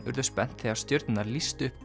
urðu spennt þegar stjörnurnar lýstu upp